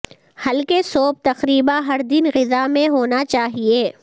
ہلکے سوپ تقریبا ہر دن غذا میں ہونا چاہئے